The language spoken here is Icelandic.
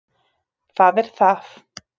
Það er það